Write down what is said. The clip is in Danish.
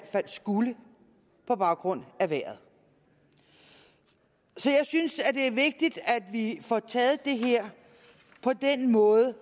fald skulle på baggrund af vejret så jeg synes det er vigtigt at vi får taget det her på den måde